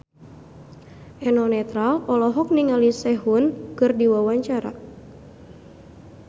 Eno Netral olohok ningali Sehun keur diwawancara